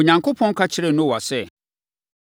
Onyankopɔn ka kyerɛɛ Noa sɛ,